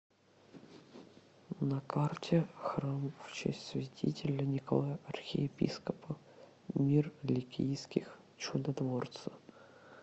на карте храм в честь святителя николая архиепископа мир ликийских чудотворца